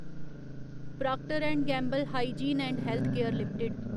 proctor and Gamble Hygiene and Health Care limited